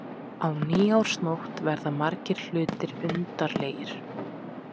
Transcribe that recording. Á nýársnótt verða margir hlutir undarlegir.